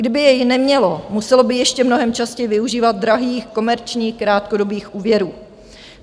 Kdyby jej nemělo, muselo by ještě mnohem častěji využívat drahých komerčních krátkodobých úvěrů.